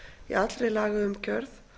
í allri lagaumgjörð